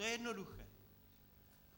To je jednoduché.